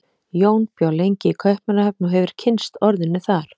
Jón bjó lengi í Kaupmannahöfn og hefur kynnst orðinu þar.